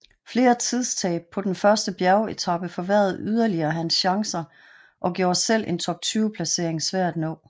Flere tidstab på den første bjergetape forværrede yderligere hans chancer og gjorde selv en top 20 placering svær at nå